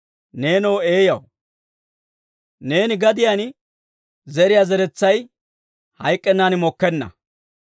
Neenoo eeyaw, neeni gadiyaan zeriyaa zeretsay hayk'k'ennan mokkenna.